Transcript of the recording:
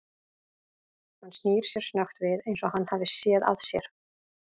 Hann snýr sér snöggt við eins og hann hafi séð að sér.